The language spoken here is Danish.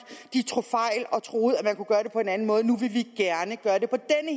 tog fejl og troede man kunne gøre det på en anden måde nu vil vi gerne gøre det på